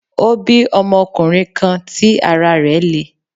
Ó bí ọmọkunrin kan tí ara rẹ̀ le